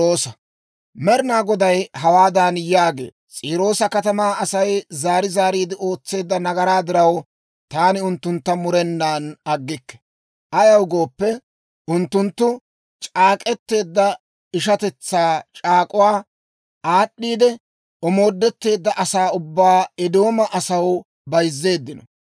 Med'inaa Goday hawaadan yaagee; «S'iiroosa katamaa Asay zaari zaariide ootseedda nagaraa diraw, taani unttuntta murenan aggikke. Ayaw gooppe, unttunttu c'aak'k'eteedda ishatetsaa c'aak'uwaa aad'd'iidde, omoodetteedda asaa ubbaa Eedooma asaw bayzzeeddino.